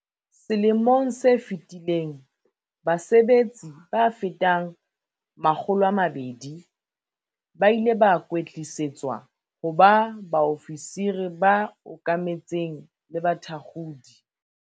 Selemong se fetileng base betsi ba fetang 200 ba ile ba kwetlisetswa ho ba baofisiri ba okametseng le bathakgodi.